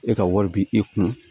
E ka wari bi e kun